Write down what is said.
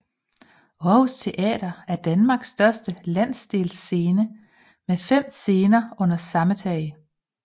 Aarhus Teater er Danmarks største landsdelsscene med fem scener under samme tag